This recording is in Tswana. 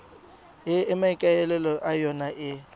e maikaelelo a yona e